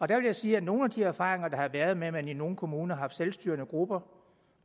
der vil jeg sige at nogle af de erfaringer der har været med at man i nogle kommuner har haft selvstyrende grupper